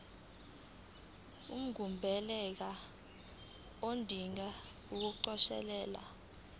ungumbaleki odinge ukukhosela